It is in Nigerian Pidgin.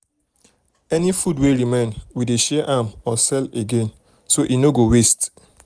any food wey remain we dey share am or sell again so e no go waste.